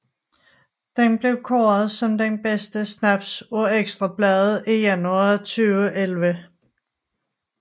Den er blevet kåret som den bedste snaps af Ekstra Bladet i januar 2011